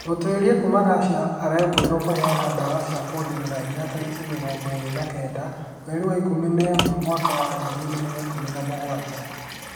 Mũtuĩria kuma Russia arekũĩrwo kũheana dawa cia kũongerera hinya tarĩki mĩrongo ĩrĩ na kenda, mweri wa ikũmi na ĩmwe mwaka wa ngiri igĩrĩ na ikũmi na mũgwanja